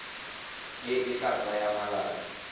e e tla tsaya malatsi